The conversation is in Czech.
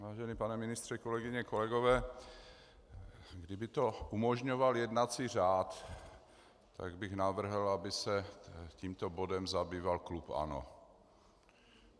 Vážený pane ministře, kolegyně, kolegové, kdyby to umožňoval jednací řád, tak bych navrhl, aby se tímto bodem zabýval klub ANO.